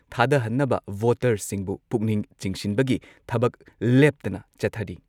ꯊꯥꯗꯍꯟꯅꯕ ꯚꯣꯇꯔꯁꯤꯡꯕꯨ ꯄꯨꯛꯅꯤꯡ ꯆꯤꯡꯁꯤꯟꯕꯒꯤ ꯊꯕꯛ ꯂꯦꯞꯇꯅ ꯆꯠꯊꯔꯤ꯫